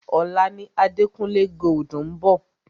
Ọ̀la ni Adekunle Gold ń bọ̀.